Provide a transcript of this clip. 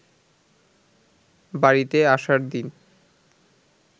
বাড়িতে আসার দিন